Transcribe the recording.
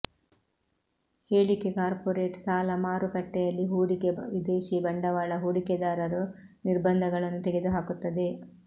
ಹೇಳಿಕೆ ಕಾರ್ಪೊರೇಟ್ ಸಾಲ ಮಾರುಕಟ್ಟೆಯಲ್ಲಿ ಹೂಡಿಕೆ ವಿದೇಶಿ ಬಂಡವಾಳ ಹೂಡಿಕೆದಾರರು ನಿರ್ಬಂಧಗಳನ್ನು ತೆಗೆದುಹಾಕುತ್ತದೆ